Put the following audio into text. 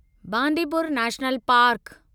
Bandipur national park